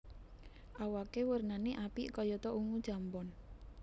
Awaké warnané apik kayata ungu jambon